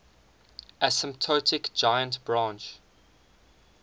asymptotic giant branch